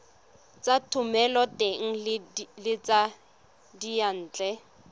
tsa thomeloteng le tsa diyantle